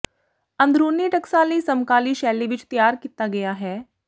ਅੰਦਰੂਨੀ ਟਕਸਾਲੀ ਸਮਕਾਲੀ ਸ਼ੈਲੀ ਵਿੱਚ ਤਿਆਰ ਕੀਤਾ ਗਿਆ ਹੈ